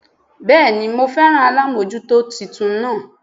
Béèni mo féràn alámójútó titun naa